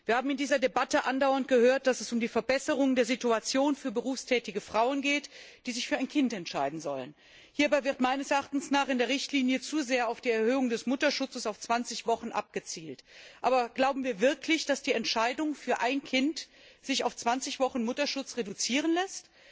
Wir haben in dieser Debatte andauernd gehört, dass es um die Verbesserung der Situation berufstätiger Frauen geht, die sich für ein Kind entscheiden sollen. Hierbei wird meines Erachtens in der Richtlinie zu sehr auf die Erhöhung des Mutterschutzes auf 20 Wochen abgezielt. Aber glauben wir wirklich, dass die Entscheidung für ein Kind sich auf 20 Wochen Mutterschutz reduzieren lässt?